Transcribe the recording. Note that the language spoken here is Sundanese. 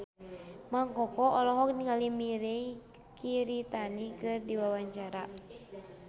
Mang Koko olohok ningali Mirei Kiritani keur diwawancara